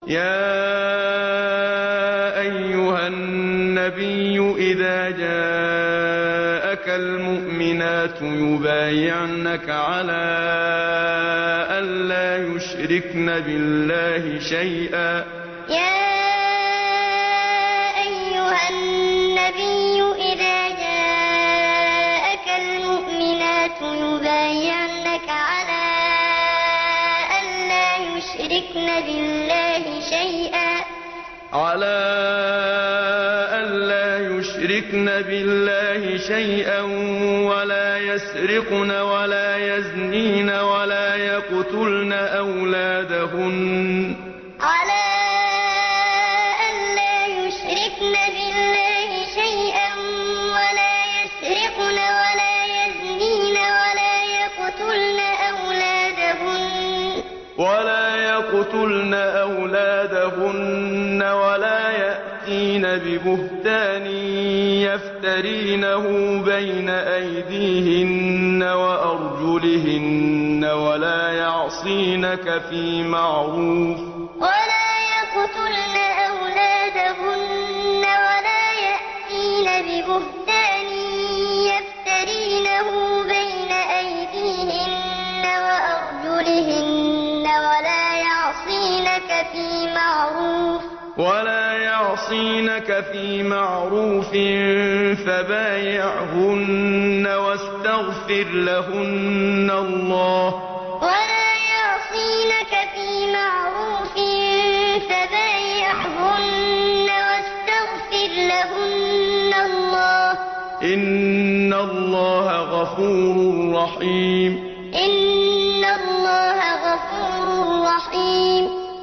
يَا أَيُّهَا النَّبِيُّ إِذَا جَاءَكَ الْمُؤْمِنَاتُ يُبَايِعْنَكَ عَلَىٰ أَن لَّا يُشْرِكْنَ بِاللَّهِ شَيْئًا وَلَا يَسْرِقْنَ وَلَا يَزْنِينَ وَلَا يَقْتُلْنَ أَوْلَادَهُنَّ وَلَا يَأْتِينَ بِبُهْتَانٍ يَفْتَرِينَهُ بَيْنَ أَيْدِيهِنَّ وَأَرْجُلِهِنَّ وَلَا يَعْصِينَكَ فِي مَعْرُوفٍ ۙ فَبَايِعْهُنَّ وَاسْتَغْفِرْ لَهُنَّ اللَّهَ ۖ إِنَّ اللَّهَ غَفُورٌ رَّحِيمٌ يَا أَيُّهَا النَّبِيُّ إِذَا جَاءَكَ الْمُؤْمِنَاتُ يُبَايِعْنَكَ عَلَىٰ أَن لَّا يُشْرِكْنَ بِاللَّهِ شَيْئًا وَلَا يَسْرِقْنَ وَلَا يَزْنِينَ وَلَا يَقْتُلْنَ أَوْلَادَهُنَّ وَلَا يَأْتِينَ بِبُهْتَانٍ يَفْتَرِينَهُ بَيْنَ أَيْدِيهِنَّ وَأَرْجُلِهِنَّ وَلَا يَعْصِينَكَ فِي مَعْرُوفٍ ۙ فَبَايِعْهُنَّ وَاسْتَغْفِرْ لَهُنَّ اللَّهَ ۖ إِنَّ اللَّهَ غَفُورٌ رَّحِيمٌ